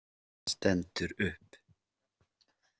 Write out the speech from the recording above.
Stendur upp.